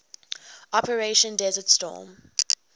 operation desert storm